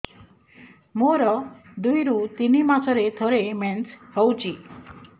ମୋର ଦୁଇରୁ ତିନି ମାସରେ ଥରେ ମେନ୍ସ ହଉଚି